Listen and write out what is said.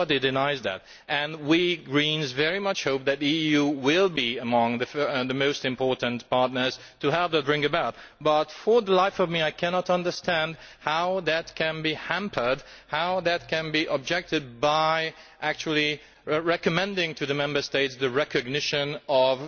Nobody denies that and we Greens very much hope that the EU will be among the most important partners to help bring that about. But for the life of me I cannot understand how that can be hampered, how that can be objected to, by actually recommending to the Member States recognition of